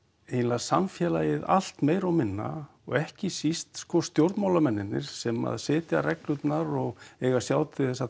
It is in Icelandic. eiginlega samfélagið allt meira og minna og ekki síst sko sem að setja reglurnar og eiga að sjá til þess að